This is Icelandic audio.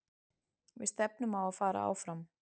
Við stefnum á að fara áfram.